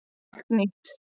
Allt nýtt